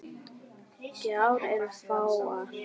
Gjár eru fáar.